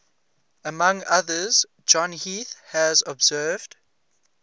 among others john heath has observed